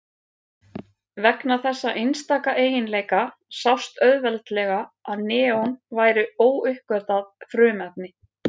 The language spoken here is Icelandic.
Vegna þessa einstaka eiginleika sást auðveldlega að neon væri óuppgötvað frumefni.